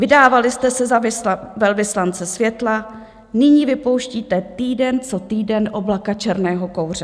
Vydávali jste se za velvyslance světla, nyní vypouštíte týden co týden oblaka černého kouře.